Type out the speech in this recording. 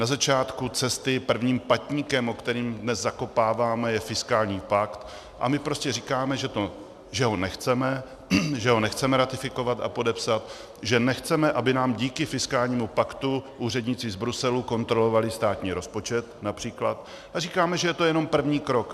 Na začátku cesty prvním patníkem, o který dnes zakopáváme, je fiskální pakt a my prostě říkáme, že ho nechceme, že ho nechceme ratifikovat a podepsat, že nechceme, aby nám díky fiskálnímu paktu úředníci z Bruselu kontrolovali státní rozpočet například, a říkáme, že to je jenom první krok.